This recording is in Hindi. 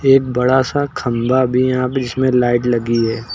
एक बड़ा सा खंभा भी यहां बीच में लाइट लगी है।